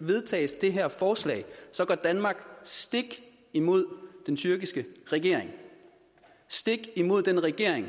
vedtages det her forslag går danmark stik imod den tyrkiske regering stik imod den regering